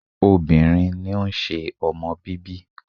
Obìnrin ni ó ń ṣe ọmọ bíbí.